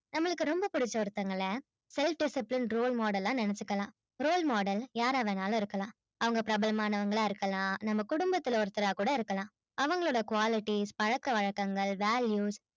நம்மளுக்கு ரொம்ப பிடிச்ச ஒருத்தவங்கள self discipline role model லா நெனச்சிக்கலாம் role model யாரா வேண்டும்னாலும் இருக்கலாம் அவங்க பிரபலமானவங்க்களா கூட இருக்கலாம் நம்ம குடும்பத்துல ஒருத்தரா கூட இருக்கலாம் அவங்களோட qualities பழக்க வழக்கங்கள் values